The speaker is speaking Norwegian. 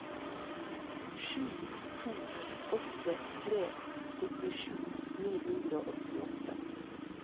sju to åtte tre syttisju ni hundre og åttiåtte